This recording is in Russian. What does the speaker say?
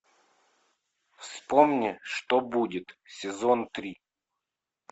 вспомни что будет сезон три